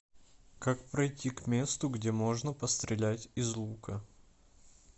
как пройти к месту где можно пострелять из лука